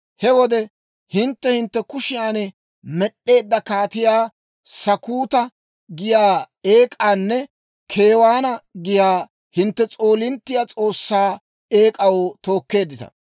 He wode hintte hintte kushiyan med'd'eedda Kaatiyaa Sakkuuta giyaa eek'aanne Keewaana giyaa hintte s'oolinttiyaa s'oossaa eek'aa tookkeeddita.